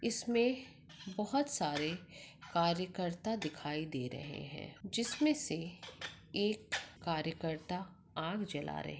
इसमें बहुत सारे कार्यकरता दिखाई दे रहे हैं जिसमे से एक कार्यकरता आग जला रहे --